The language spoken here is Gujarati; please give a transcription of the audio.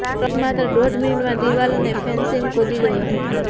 પ્રવીણ માત્ર દોઢ મિનિટમાં દીવાલ અને ફેન્સિંગ કૂદી ગયો હતો